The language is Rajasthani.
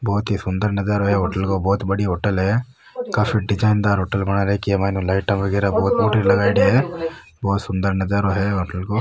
बहोत ही सुन्दर नजारों है ई होटल को बहोत बड़ी होटल है काफी डिजाइन दार होटल बना रखी है माइन ऊ लाइटा वगेरा बहोत फुटरी लगायेडी है बहोत सुन्दर नजरो हो होटल को।